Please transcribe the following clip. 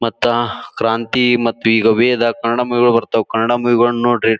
ಮತ್ತ ಕ್ರಾಂತಿ ಮತ್ತು ಈಗ ವೇದ ಕನ್ನಡ ಮೂವಿ ಗಳು ಬರ್ತಾವ ಕನ್ನಡ ಮೂವಿ ಗಳನ್ನೂ ನೋಡ್ರಿ.